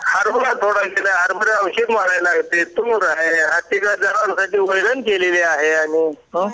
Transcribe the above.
लागत तूर वैरण केली आहे आणि